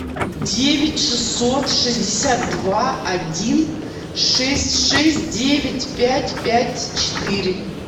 девять шестьсот шестьдесят два один шесть шесть девять пять пять четыре